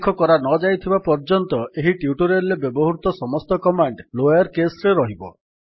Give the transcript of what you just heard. ଉଲ୍ଲେଖ କରାନଯାଇଥିବା ପର୍ଯ୍ୟନ୍ତ ଏହି ଟ୍ୟୁଟୋରିଆଲ୍ ରେ ବ୍ୟବହୃତ ସମସ୍ତ କମାଣ୍ଡ୍ ଲୋୟର୍ କେସ୍ ରେ ରହିବ